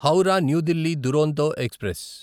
Howrah New Delhi Duronto express